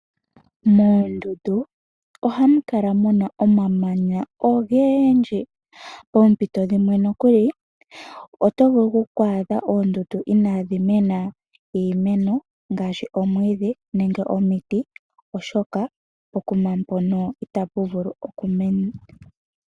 Moondunda oha mu kala muna omamanya ogeendji, poompito dhimwe nokuli oto vulu oku adha oondundu ina dhi mena iimeno ngaashi omwiidhi nenge omiti oshoka pokuma mpoka ita pu vulu okumena.